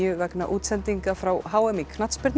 vegna útsendinga frá h m í knattspyrnu